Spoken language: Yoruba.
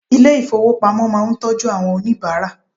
Ilé ìfowópamọ́ máà ń tọ́jú owó àwọn oníbàárà.